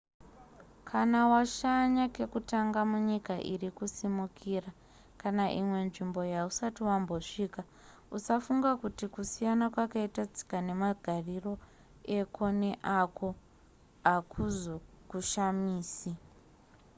kana washanya kekutanga munyika iri kusimukira kana imwe nzvimbo yausati wambosvika-usafunga kuti kusiyana kwakaita tsika nemagariro eko neako hakuzokushamisi